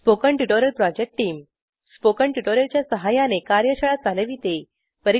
spoken tutorial project team spoken tutorial च्या सहाय्याने कार्यशाळा चालविते